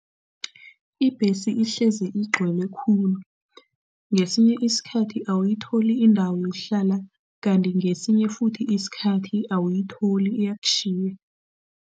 Ibhesi ihlezi igcwele khulu. Ngesinye isikhathi, awuyitholi indawo yokuhlala kanti ngesinye futhi isikhathi awuyitholi, iyakutjhiya.